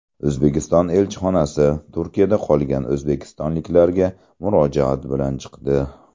O‘zbekiston elchixonasi Turkiyada qolgan o‘zbekistonliklarga murojaat bilan chiqdi.